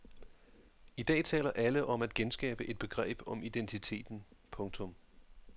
I dag taler alle om at genskabe et begreb om identiteten. punktum